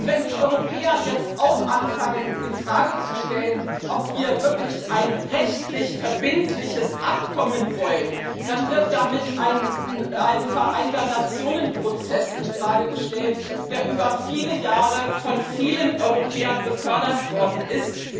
Wenn die Europäer jetzt auch anfangen, in Frage zu stellen, ob wir wirklich ein rechtlich verbindliches Abkommen wollen, dann wird damit ein Prozess im Rahmen der Vereinten Nationen in Frage gestellt, der über viele Jahre von vielen Europäern gefördert worden ist.